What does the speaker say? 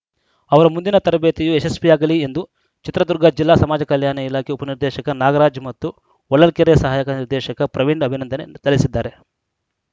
ಅವರ ಮುಂದಿನ ತರಬೇತಿಯು ಯಶಸ್ವಿಯಾಗಲಿ ಎಂದು ಚಿತ್ರದುರ್ಗ ಜಿಲ್ಲಾ ಸಮಾಜಕಲ್ಯಾಣ ಇಲಾಖೆ ಉಪನಿರ್ದೇಶಕ ನಾಗರಾಜ್‌ ಮತ್ತು ಹೊಳಲ್ಕೆರೆ ಸಹಾಯಕ ನಿರ್ದೇಶಕ ಪ್ರವೀಣ್‌ ಅಭಿನಂದನೆ ಸಲ್ಲಿಸಿದ್ದಾರೆ